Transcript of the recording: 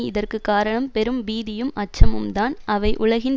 இதற்கு காரணம் பெரும் பீதியும் அச்சமும்தான் அவை உலகின்